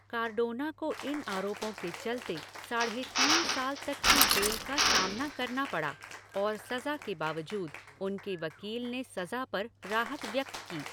Cardona को इन आरोपों के चलते साढ़े तीन साल तक की जेल का सामना करना पड़ा और सजा के बावजूद उनके वकील ने सजा पर राहत व्यक्त की।